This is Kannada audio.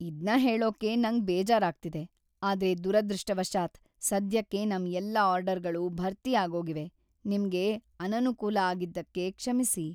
ಇದ್ನ ಹೇಳೋಕೆ ನಂಗ್‌ ಬೇಜಾರಾಗ್ತಿದೆ, ಆದ್ರೆ ದುರದೃಷ್ಟವಶಾತ್, ಸದ್ಯಕ್ಕೆ ನಮ್ ಎಲ್ಲಾ ಆರ್ಡರ್‌ಗಳೂ ಭರ್ತಿ ಆಗೋಗಿವೆ. ನಿಮ್ಗೆ ಅನನುಕೂಲ ಆಗಿದ್ದಕ್ಕೆ ಕ್ಷಮ್ಸಿ.